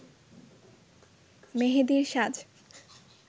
মেহেদির সাজ